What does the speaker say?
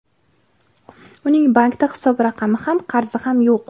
Uning bankda hisob raqami ham, qarzi ham yo‘q.